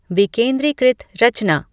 विकेंद्रीकृत रचना